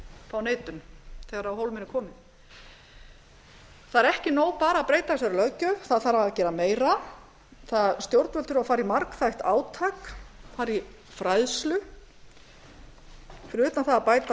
fá neitun þegar á hólminn er komið það er ekki nóg bara að breyta þessari löggjöf það þarf að gera meira stjórnvöld þurfa að fara í margþætt átak fara í fræðslu fyrir utan það að bæta